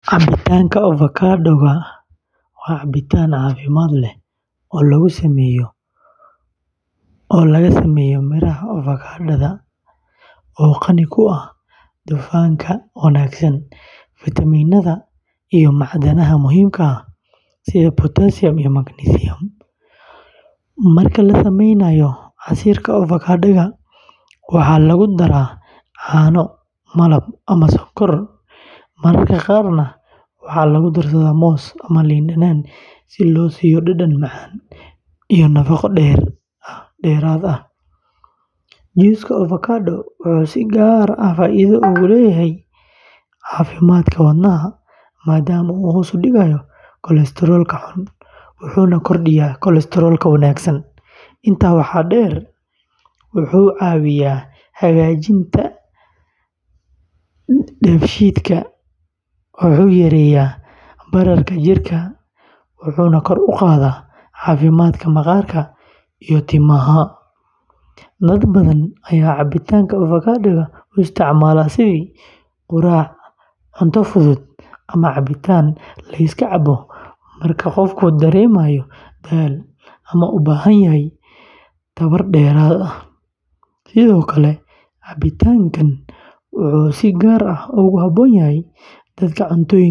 Cabitaanka avocado-ga waa cabitaan caafimaad leh oo laga sameeyo miraha avocado-da oo qani ku ah dufanka wanaagsan, fitamiinada iyo macdanaha muhiimka ah sida potassium iyo magnesium. Marka la sameynayo casiirka avocado-ga, waxaa lagu daraa caano, malab ama sonkor, mararka qaarna waxaa lagu darsadaa moos ama liin dhanaan si loo siiyo dhadhan macaan iyo nafaqo dheeraad ah. juuska avocadaha wuxuu si gaar ah faa’iido ugu leeyahay caafimaadka wadnaha maadaama uu hoos u dhigo kolestaroolka xun, wuxuuna kordhiyaa kolestaroolka wanaagsan. Intaa waxaa dheer, wuxuu caawiyaa hagaajinta dheefshiidka, wuxuu yareeyaa bararka jirka, wuxuuna kor u qaadaa caafimaadka maqaarka iyo timaha. Dad badan ayaa cabitaanka avocado-ga u isticmaala sidii quraac, cunto fudud, ama cabitaan la iska cabo marka qofku dareemayo daal ama u baahan yahay tamar dheeraad ah. Sidoo kale, cabitaankan wuxuu si gaar ah ugu habboon yahay dadka cuntooyinka.